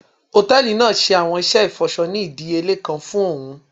Hòtẹ́ẹ̀lì naa ṣe awọn iṣẹ ifọṣọ ni idiyele kan fún óún